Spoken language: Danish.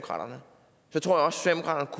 har